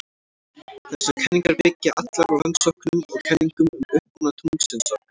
Þessar kenningar byggja allar á rannsóknum og kenningum um uppruna tunglsins okkar.